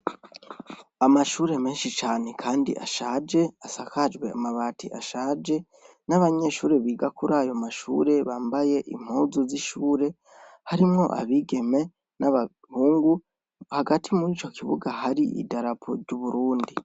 Amashure menshi cane kandi ashaje asakajwe amabati ashaje , n'abanyeshure biga kurayo mashure bambaye impuzu z'ishure , harimwo abigeme n'abahungu hagati murico kibuga hari idarapo ry'Uburundi .